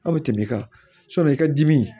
Aw bɛ tɛmɛ kan i ka dimi